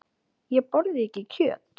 Ég borða ekki kjöt.